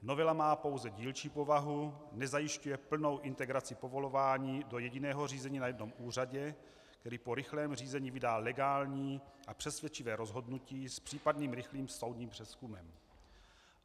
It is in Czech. Novela má pouze dílčí povahu, nezajišťuje plnou integraci povolování do jediného řízení na jednom úřadě, který po rychlém řízení vydá legální a přesvědčivé rozhodnutí s případným rychlým soudním přezkumem.